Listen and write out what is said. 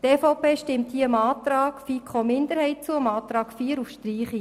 Die EVP stimmt hier dem Antrag der FiKo-Minderheit zu, dem Antrag 4 auf Streichung.